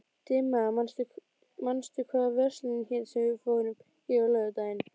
Dimma, manstu hvað verslunin hét sem við fórum í á laugardaginn?